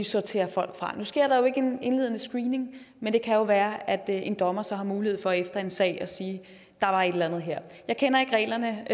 sortere folk fra nu sker der jo ikke en indledende screening men det kan være at en dommer så har mulighed for efter en sag at sige der var et eller andet her jeg kender ikke reglerne